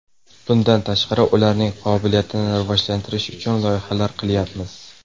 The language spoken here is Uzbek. Bundan tashqari, ularning qobiliyatini rivojlantirish uchun loyihalar qilyapmiz.